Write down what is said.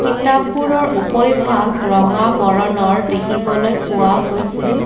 কিতাপবোৰৰ উপৰিভাগ ৰঙা বৰণৰ দেখিবলৈ পোৱা গৈছে।